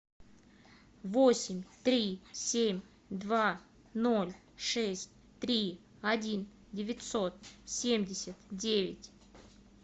восемь три семь два ноль шесть три один девятьсот семьдесят девять